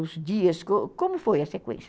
Os dias, como foi a sequência?